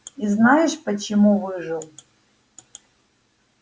и знаешь почему выжил